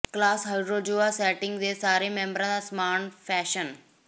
class hydrozoa sting ਦੇ ਸਾਰੇ ਮੈਂਬਰਾਂ ਦਾ ਸਮਾਨ ਫੈਸ਼ਨ